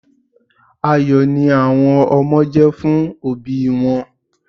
Ayọ̀ ni àwọn ọmọ jẹ́ fún òbí wọn.